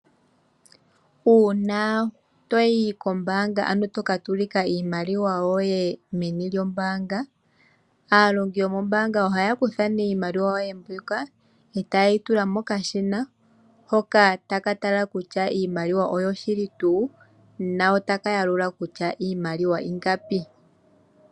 Uuna to yi kombaanga ano toka tsilika iimaliwa yoye meni lyombaanga, aalongi yomombaanga ohaya kutha ne iimaliwa yoye mbyoka etaye yi tula mokashina hoka taka tala kutya iimaliwa oyo shili tuu na otaka yalula kutya iimaliwa iingapi.